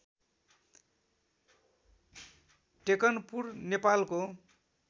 टेकनपुर नेपालको